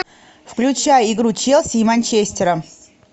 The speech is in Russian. включай игру челси и манчестера